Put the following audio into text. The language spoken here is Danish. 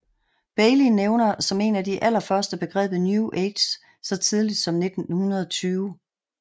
Bailey nævner som en af de allerførste begrebet New Age så tidligt som 1920